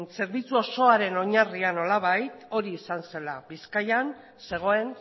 zerbitzu osoaren oinarria nolabait hori izan zela bizkaian zegoen